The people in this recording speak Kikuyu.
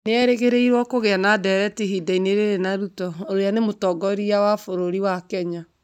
Nĩ erĩgĩrĩirwo kũgĩa na ndeereti ihinda-inĩ rĩrĩ na Ruto uria ni mũtongoria wa bururi wa Kenya.